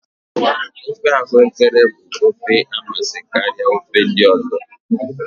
ofe ahuekere bụ ofe na amasị karịa ofe ndị ọzọ